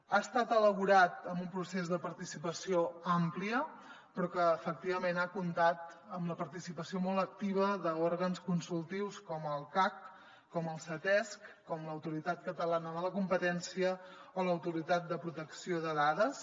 ha estat elaborat amb un procés de participació àmplia però que efectivament ha comptat amb la participació molt activa d’òrgans consultius com el cac com el ctesc com l’autoritat catalana de la competència o l’autoritat de protecció de dades